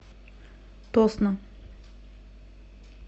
тосно